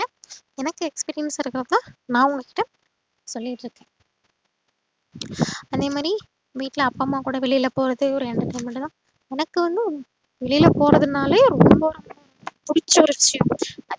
எனக்கு expecting இருக்ககுள்ள நா உங்ககிட்ட சொல்லிட்டு இருக்கேன் அதேமாறி வீட்ல அப்பாம்மா கூட வெளில போறதே ஒரு entertainment தான் எனக்கு வந்து வெளில போறதுனாலே ரொம்ப ரொம்ப புடிச்ச ஒரு விஷயம்